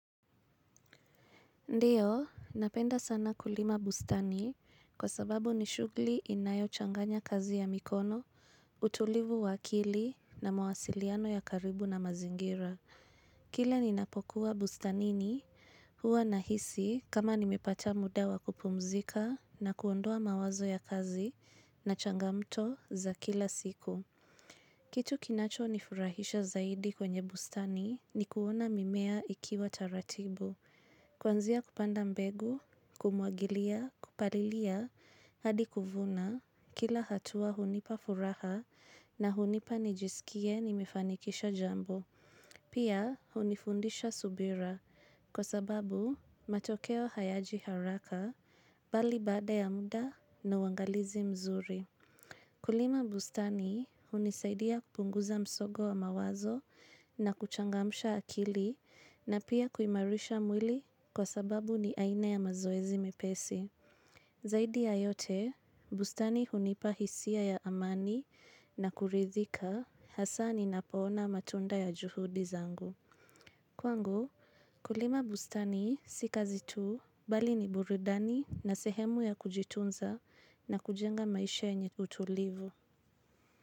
Ndio, napenda sana kulima bustani kwa sababu ni shughuli inayochanganya kazi ya mikono, utulivu wa akili na mawasiliano ya karibu na mazingira. Kila ninapokuwa bustanini huwa nahisi kama nimepata muda wa kupumzika na kuondoa mawazo ya kazi na changamoto za kila siku. Kitu kinachonifurahisha zaidi kwenye bustani ni kuona mimea ikiwa taratibu. Kuanzia kupanda mbegu, kumwagilia, kupalilia, hadi kuvuna, kila hatua hunipa furaha na hunipa nijisikie nimefanikisha jambo. Pia hunifundisha subira kwa sababu matokeo hayaji haraka bali baada ya muda na uangalizi mzuri. Kulima bustani hunisaidia kupunguza msongo wa mawazo na kuchangamsha akili na pia kuimarisha mwili kwa sababu ni aina ya mazoezi mepesi. Zaidi ya yote, bustani hunipa hisia ya amani na kuridhika hasa ninapoona matunda ya juhudi zangu. Kwangu, kulima bustani si kazi tu bali ni burudani na sehemu ya kujitunza na kujenga maisha yenye utulivu.